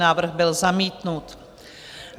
Návrh byl zamítnut.